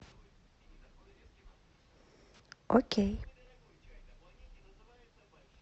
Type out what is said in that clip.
окей